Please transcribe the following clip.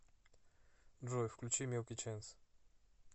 джой включи милки ченс